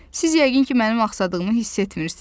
Siz yəqin ki, mənim axsadığımı hiss etmirsiniz.